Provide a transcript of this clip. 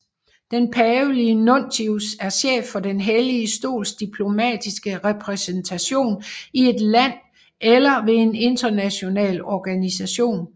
Den pavelige nuntius er chef for Den Hellige Stols diplomatiske repræsentation i et land eller ved en international organisation